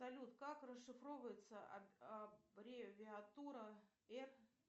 салют как расшифровывается аббревиатура р